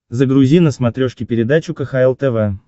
загрузи на смотрешке передачу кхл тв